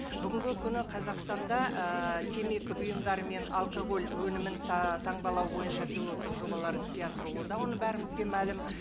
бүгінгі күні қазақстанда ііі темекі бұйымдары мен алкоголь өнімін таңбалау бойынша пилоттық жобалар іске асырылуда оны бәрімізге мәлім